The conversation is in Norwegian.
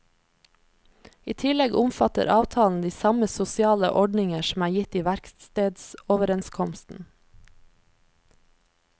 I tillegg omfatter avtalen de samme sosiale ordninger som er gitt i verkstedsoverenskomsten.